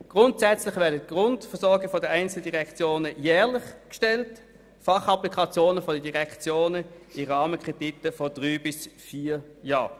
Grundsätzlich werden Kreditbegehren für die Grundversorgung der einzelnen Direktionen jährlich gestellt, solche für die Fachapplikationen der Direktionen dagegen in Rahmenkrediten für drei oder vier Jahre.